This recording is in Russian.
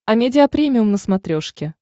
амедиа премиум на смотрешке